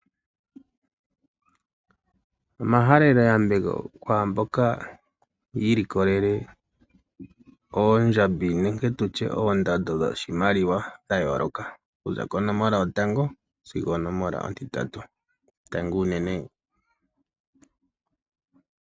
Omahalelo yambeko kwamboka yilikolele oondjambi nenge tutye ondando dhoshimaliwa dha yoloka okuza konomola yotango sigwo oko nomola ontitatu ,tangi uunene.